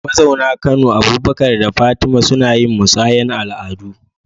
Mazauna Kano, Abubakar da Fatima, suna yin musayar al’adu